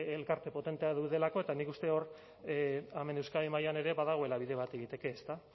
elkarte potenteak daudelako eta nik uste hemen euskadi mailan ere badagoela bide bat egiteke